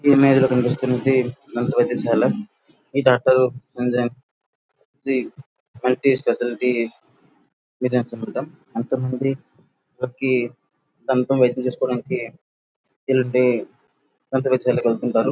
ఈ ఇమేజ్ లో కనిపిస్తున్నది మంచి వైద్యశాల. ఈ డాక్టర్ మందిరం శ్రీ మల్టీ స్పెషాలిటీ కొంతమంది దంత వైద్యం చేసుకోవడానికి దంత వైద్యశాలకు వెళ్తూ ఉంటారు.